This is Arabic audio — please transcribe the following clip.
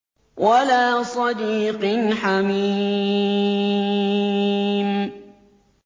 وَلَا صَدِيقٍ حَمِيمٍ